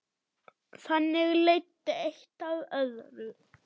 Þannig leiddi eitt af öðru.